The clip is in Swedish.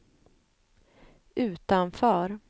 utanför